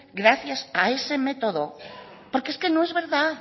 gracias a ese método porque es que no es verdad